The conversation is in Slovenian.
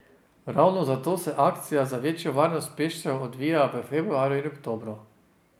Ravno zato se akcije za večjo varnost pešcev odvijajo v februarju in oktobru.